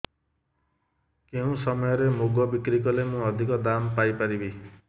କେଉଁ ସମୟରେ ମୁଗ ବିକ୍ରି କଲେ ମୁଁ ଅଧିକ ଦାମ୍ ପାଇ ପାରିବି